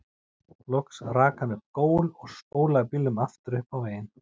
Loks rak hann upp gól og spólaði bílnum aftur upp á veginn.